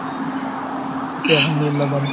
আছি আলহামদুলিল্লাহ ভালো।